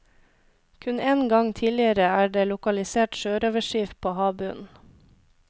Kun én gang tidligere er det lokalisert sjørøverskip på havbunnen.